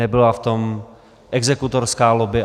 Nebyla v tom exekutorská lobby.